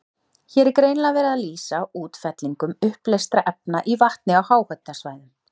Hér er greinilega verið að lýsa útfellingum uppleystra efna í vatni á háhitasvæðum.